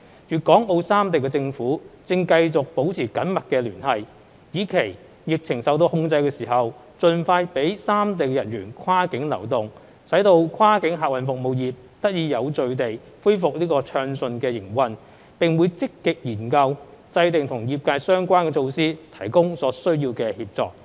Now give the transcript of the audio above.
粵港澳三地政府正繼續保持緊密聯繫，以期疫情受到控制時，盡快讓三地人員跨境流動，使跨境客運服務業得以有序地恢復暢順營運，並會積極研究制訂與業界相關的措施，提供所需協助。